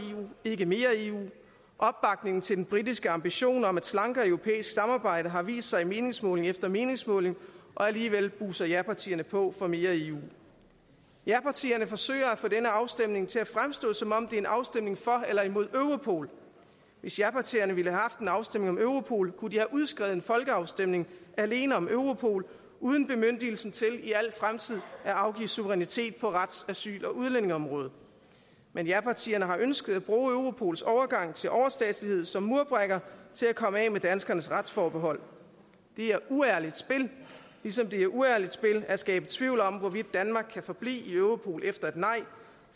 ikke mere eu opbakningen til den britiske ambition om et slankere europæisk samarbejde har vist sig i meningsmåling efter meningsmåling og alligevel buser japartierne på for mere eu japartierne forsøger at få denne afstemning til at fremstå som om det er en afstemning for eller imod europol hvis japartierne ville have haft en afstemning om europol kunne de have udskrevet en folkeafstemning alene om europol uden bemyndigelse til i al fremtid at afgive suverænitet på rets asyl og udlændingeområdet men japartierne har ønsket at bruge europols overgang til overstatslighed som murbrækker til at komme af med danskernes retsforbehold det er uærligt spil ligesom det er uærligt spil at skabe tvivl om hvorvidt danmark kan forblive i europol efter et nej